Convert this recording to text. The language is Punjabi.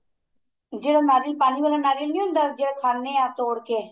ਜਿਹੜਾ ਨਾਰੀਅਲ ਪਾਣੀ ਵਾਲਾ ਨਾਰੀਅਲ ਨੀਂ ਹੁੰਦਾ ਜਿਹੜਾ ਖਾਨੇ ਆ ਤੋੜ ਕੇ